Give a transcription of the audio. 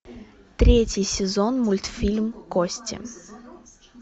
третий сезон мультфильм кости